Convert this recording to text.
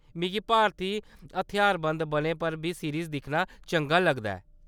मिगी भारती हथ्यारबंद बलें पर बी सीरिज़ दिक्खना चंगा लगदा ऐ।